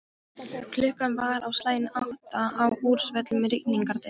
Klukkan var á slaginu átta á úrsvölum rigningardegi.